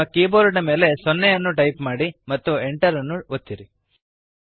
ನಿಮ್ಮ ಕೀಬೋರ್ಡ್ ಮೇಲೆ 0 ಅನ್ನು ಟೈಪ್ ಮಾಡಿರಿ ಮತ್ತು Enter ಅನ್ನು ಒತ್ತಿರಿ